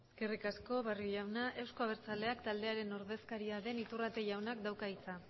eskerrik asko barrio jauna euzko abertzaleak taldearen ordezkaria den iturrate jaunak dauka hitza